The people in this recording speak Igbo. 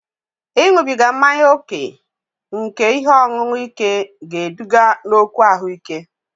Ịṅụbiga mmanya ókè nke ihe ọṅụṅụ ike ga-eduga n'okwu ahụike